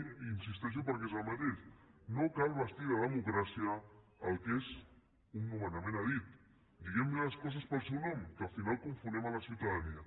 hi insisteixo perquè és el mateix no cal vestir de democràcia el que és un nomenament a dit diguem les coses pel seu nom que al final confonem la ciutadania